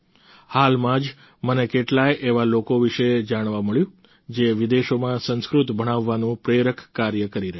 હાલમાં જ મને કેટલાય એવા લોકો વિશે જાણવા મળ્યું જે વિદેશોમાં સંસ્કૃત ભણાવવાનું પ્રેરક કાર્ય કરી રહ્યા છે